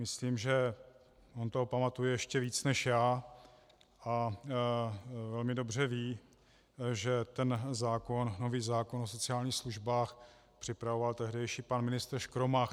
Myslím, že on toho pamatuje ještě víc než já a velmi dobře ví, že ten nový zákon o sociálních službách připravoval tehdejší pan ministr Škromach.